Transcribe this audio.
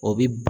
O bi